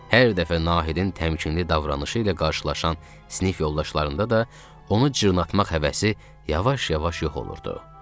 Hər dəfə Nahidin təmkinli davranışı ilə qarşılaşan sinif yoldaşlarında da onu cırnatmaq həvəsi yavaş-yavaş yox olurdu.